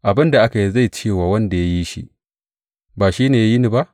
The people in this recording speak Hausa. Abin da aka yi zai ce wa wanda ya yi shi, Ba shi ne ya yi ni ba?